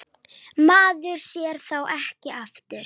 Maður sér þá ekki aftur.